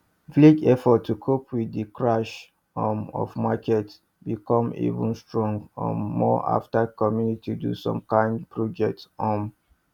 village effort to cope with de crash um of market be come even strong um more after community do some kind projects um